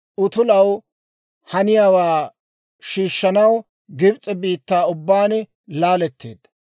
Aasi utulaw haniyaawaa shiishshanaw Gibs'e biittaa ubbaan laaletteedda.